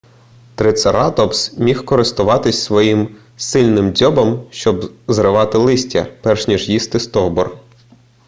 трицератопс міг користуватися своїм сильним дзьобом щоб зривати листя перш ніж їсти стовбур